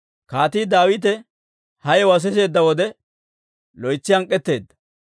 Kaatii Daawite ha yewuwaa siseedda wode, loytsi hank'k'etteedda.